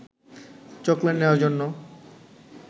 chocolate নেওয়ার জন্য